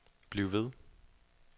bliv ved